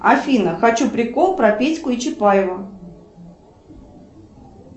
афина хочу прикол про петьку и чапаева